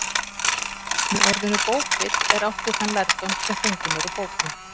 Með orðinu bókvit er átt við þann lærdóm sem fenginn er úr bókum.